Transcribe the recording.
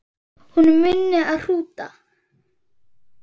Hún minni á hrúta.